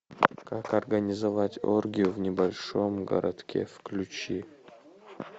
как организовать оргию в небольшом городке включи